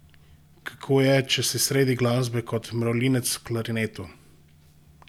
Kako je, če si sredi glasbe kot mravljinec v klarinetu?